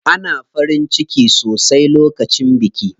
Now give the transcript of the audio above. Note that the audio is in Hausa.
Ana farin ciki sosai lokacin biki.